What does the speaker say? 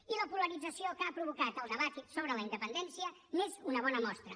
i la polarització que ha provocat el debat sobre la independència n’és una bona mostra